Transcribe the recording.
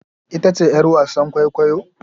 Ita ce yar wasan kwaikwayo?